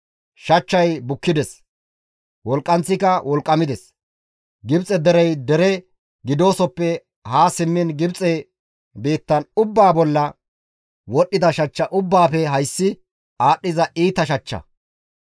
Shachchay bukkides; wolqqanththika wolqqamides; Gibxe derey dere gidoosoppe haa simmiin Gibxe biitta ubbaa bolla wodhdhida shachcha ubbaafe hayssi aadhdhiza iita shachcha.